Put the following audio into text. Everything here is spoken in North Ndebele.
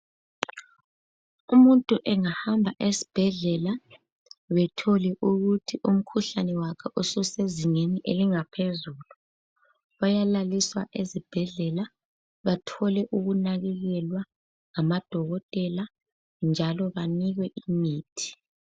Umuntu engahamba esibhedlela bethole ukuthi umkhuhlane wakhe ususezingeni elingaphezulu ,bayalaliswa ezibhedlela bathole ukunakekelwa ngamadokotela njalo banikwe imithi.